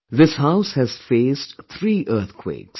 This house has faced three earthquakes